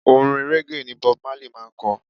Orin régè ni Bob Marley máa ń ko.